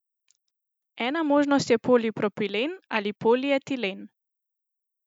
Ena možnost je polipropilen ali polietilen.